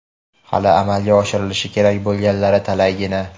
hali amalga oshirilishi kerak bo‘lganlari talaygina.